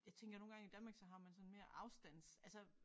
Jeg tænker nogle gange i Danmark så har man sådan mere afstands altså